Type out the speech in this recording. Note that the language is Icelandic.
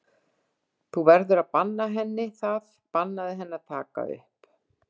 Þú verður að banna henni það, bannaðu henni að taka upp!